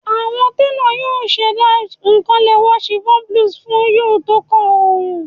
Awọn telo yoo ṣẹda kan lẹwa chiffon blouse fun u tókàn ooru